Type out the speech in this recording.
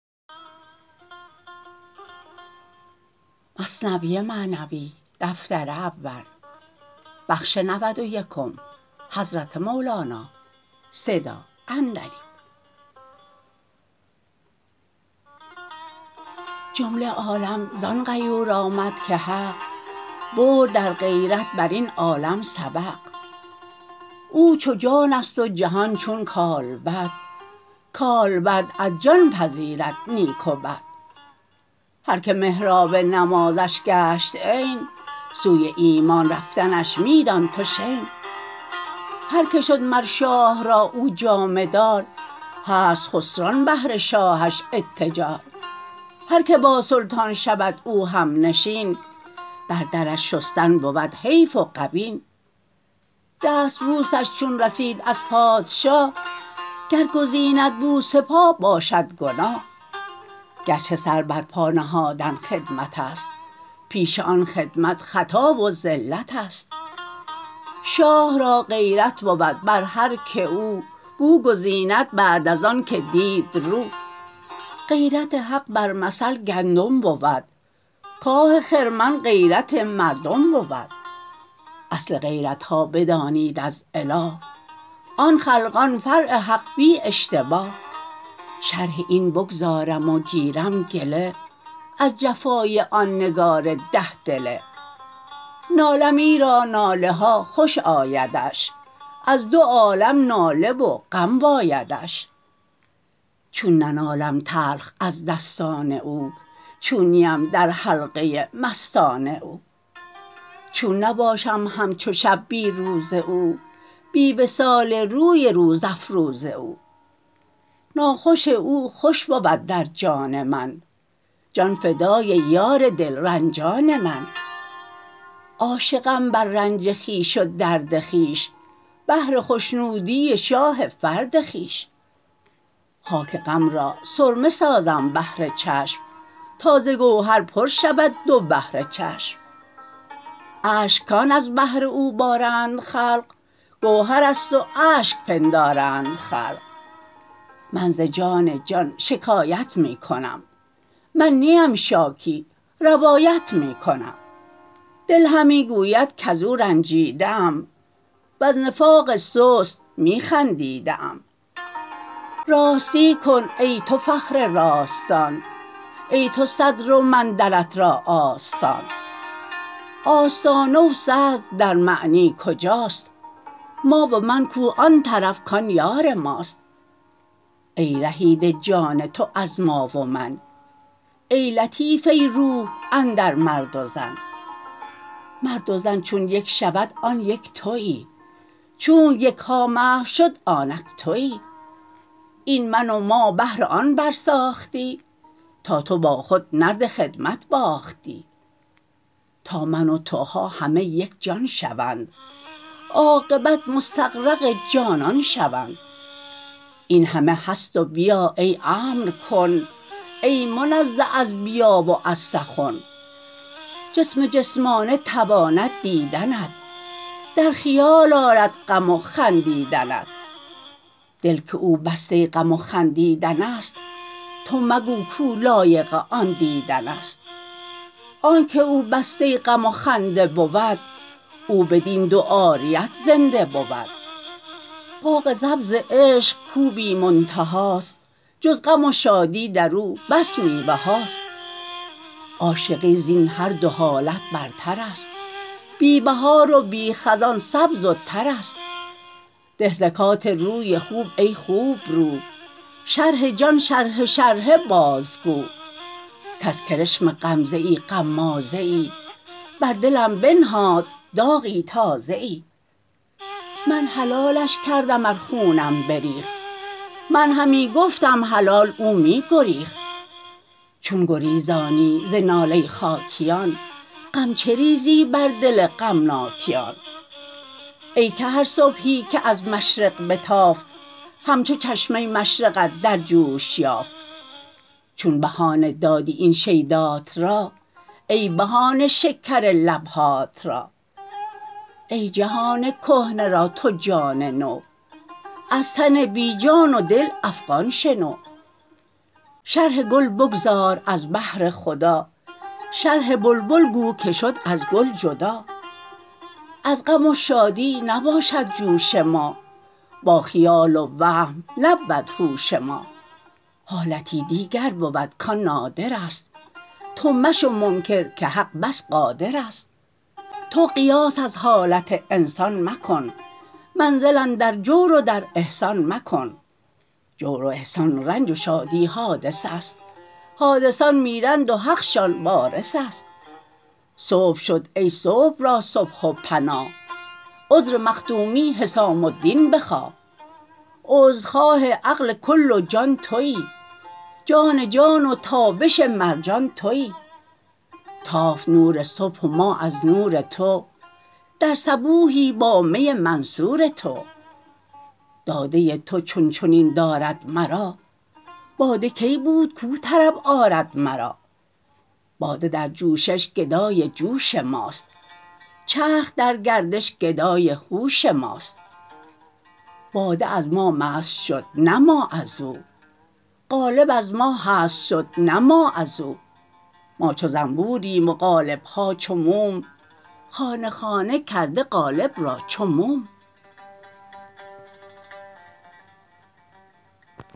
جمله عالم زان غیور آمد که حق برد در غیرت برین عالم سبق او چو جانست و جهان چون کالبد کالبد از جان پذیرد نیک و بد هر که محراب نمازش گشت عین سوی ایمان رفتنش می دان تو شین هر که شد مر شاه را او جامه دار هست خسران بهر شاهش اتجار هر که با سلطان شود او همنشین بر درش شستن بود حیف و غبین دستبوس ش چون رسید از پادشاه گر گزیند بوس پا باشد گناه گرچه سر بر پا نهادن خدمت است پیش آن خدمت خطا و زلت است شاه را غیرت بود بر هر که او بو گزیند بعد از آن که دید رو غیرت حق بر مثل گندم بود کاه خرمن غیرت مردم بود اصل غیرتها بدانید از اله آن خلقان فرع حق بی اشتباه شرح این بگذارم و گیرم گله از جفای آن نگار ده دله نالم ایرا ناله ها خوش آیدش از دو عالم ناله و غم بایدش چون ننالم تلخ از دستان او چون نیم در حلقه مستان او چون نباشم همچو شب بی روز او بی وصال روی روز افروز او ناخوش او خوش بود در جان من جان فدای یار دل رنجان من عاشقم بر رنج خویش و درد خویش بهر خشنودی شاه فرد خویش خاک غم را سرمه سازم بهر چشم تا ز گوهر پر شود دو بحر چشم اشک کان از بهر او بارند خلق گوهرست و اشک پندارند خلق من ز جان جان شکایت می کنم من نیم شاکی روایت می کنم دل همی گوید کزو رنجیده ام وز نفاق سست می خندیده ام راستی کن ای تو فخر راستان ای تو صدر و من درت را آستان آستانه و صدر در معنی کجاست ما و من کو آن طرف کان یار ماست ای رهیده جان تو از ما و من ای لطیفه روح اندر مرد و زن مرد و زن چون یک شود آن یک توی چونک یک ها محو شد آنک توی این من و ما بهر آن بر ساختی تا تو با خود نرد خدمت باختی تا من و توها همه یک جان شوند عاقبت مستغرق جانان شوند این همه هست و بیا ای امر کن ای منزه از بیان و از سخن جسم جسمانه تواند دیدنت در خیال آرد غم و خندیدنت دل که او بسته غم و خندیدن است تو مگو کاو لایق آن دیدن است آنک او بسته غم و خنده بود او بدین دو عاریت زنده بود باغ سبز عشق کاو بی منتها ست جز غم و شادی درو بس میوه هاست عاشقی زین هر دو حالت برترست بی بهار و بی خزان سبز و ترست ده زکات روی خوب ای خوب رو شرح جان شرحه شرحه بازگو کز کرشم غمزه ای غمازه ای بر دلم بنهاد داغی تازه ای من حلالش کردم ار خونم بریخت من همی گفتم حلال او می گریخت چون گریزانی ز ناله خاکیان غم چه ریزی بر دل غمناکیان ای که هر صبحی که از مشرق بتافت همچو چشمه مشرقت در جوش یافت چون بهانه دادی این شیدات را ای بها نه شکر لبهات را ای جهان کهنه را تو جان نو از تن بی جان و دل افغان شنو شرح گل بگذار از بهر خدا شرح بلبل گو که شد از گل جدا از غم و شادی نباشد جوش ما با خیال و وهم نبود هوش ما حالتی دیگر بود کان نادر ست تو مشو منکر که حق بس قادر ست تو قیاس از حالت انسان مکن منزل اندر جور و در احسان مکن جور و احسان رنج و شادی حادث است حادثان میرند و حقشان وارث است صبح شد ای صبح را صبح و پناه عذر مخدومی حسام الدین بخواه عذرخواه عقل کل و جان توی جان جان و تابش مرجان توی تافت نور صبح و ما از نور تو در صبوحی با می منصور تو داده تو چون چنین دارد مرا باده کی بود کاو طرب آرد مرا باده در جوشش گدای جوش ماست چرخ در گردش گدای هوش ماست باده از ما مست شد نه ما ازو قالب از ما هست شد نه ما ازو ما چو زنبور یم و قالب ها چو موم خانه خانه کرده قالب را چو موم